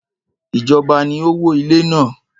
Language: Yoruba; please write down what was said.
Ìjọba ni ó wó ilé náà.